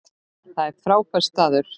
Það er frábær staður.